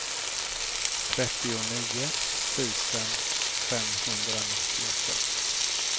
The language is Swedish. trettionio tusen femhundranittiosex